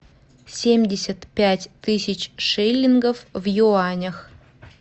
семьдесят пять тысяч шиллингов в юанях